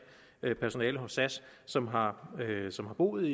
personale hos sas som har som har boet